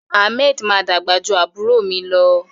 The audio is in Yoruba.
Ahmed ma dàgbà jù àbúrò mi lọ.